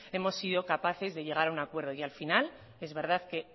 hemos sido capaces de llegar a un acuerdo y al final es verdad que